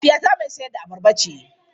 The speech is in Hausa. Mahaifiyata mai sayar da abarba ce.